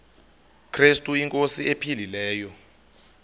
krestu inkosi ephilileyo